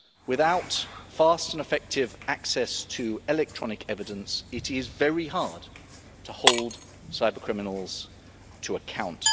Without fast and effective access to electronic evidence, it is very hard to hold cyber criminals to account.